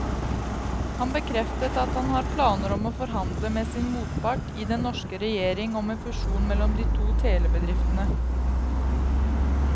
Han bekreftet at han har planer om å forhandle med sin motpart i den norske regjering om en fusjon mellom de to telebedriftene.